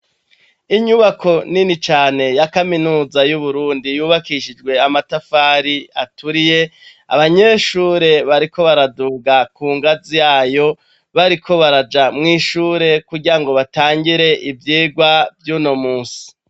inyubako nini cane ya kaminuza y'uburundi yubakishijwe amatafari aturiye abanyeshure bariko baraduga ku ngazi yayo bariko baraja mw'ishure kugira ngo batangire ivyigwa ry'unomunsi